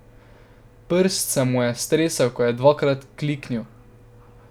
Prst se mu je tresel, ko je dvakrat kliknil.